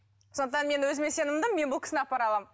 сондықтан мен өзіме сенімдімін мен бұл кісіні апара аламын